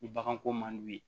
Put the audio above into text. Ni baganko man di u ye